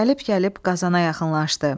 Gəlib-gəlib Qazana yaxınlaşdı.